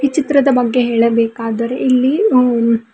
ಚಿತ್ರದ ಬಗ್ಗೆ ಹೇಳಬೇಕಾದರೆ ಇಲ್ಲಿ ಅಂ--